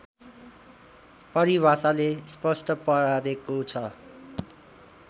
परिभाषाले स्पष्ट पारेको छ